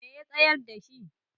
me ya tsayar da shi?